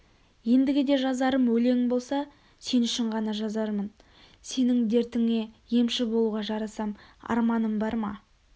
ендігіде жазарым өлең болса сен үшін ғана жазармын сенің дертіңе емші болуға жарасам арманым барма